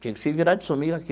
Tinha que se virar de sumir aqui.